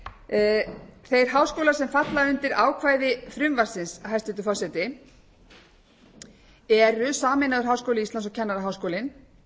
er óásættanlegt þeir háskólar sem falla undir ákvæði frumvarpsins hæstvirtur forseti eru sameinaður háskóli íslands og kennaraháskólinn